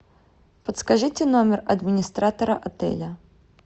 подскажите номер администратора отеля